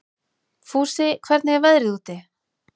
Fúsi, hvernig er veðrið úti?